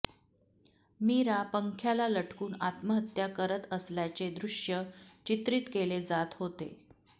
मीरा पंख्याला लटकून आत्महत्या करत असल्याचे दृश्य चित्रीत केले जात होते